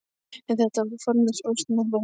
En þetta var bara formlaus óskapnaður.